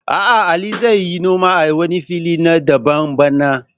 A'a, Ali zai yi noma a wani filin na daban bana